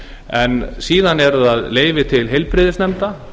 en síðan eru það leyfi til heilbrigðisnefnda